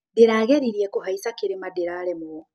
Ndĩrageririe kũhaica kĩrĩma, ndĩraremwo.